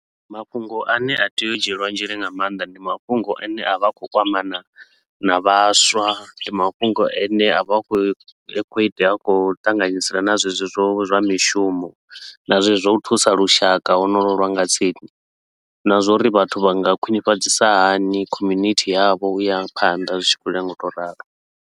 Mafhungo a ne a tea u dzhielwa nzhele nga mannḓa, ndi mafhungo a ne a vha a khou kwamana na vhaswa. Ndi mafhungo a ne a vha a khou khou itea, a khou ṱanganyisa na zwezwo zwa zwa mishumo na zwezwo zwa u thusa lushaka honolwo lwa nga tsini na zwa uri vhathu vha nga khwinifhadzisa hani community yavho u ya phanḓa zwi tshi khou ya nga u tou ralo.